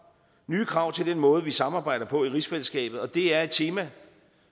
nye krav til den måde vi samarbejder på i rigsfællesskabet og det er et tema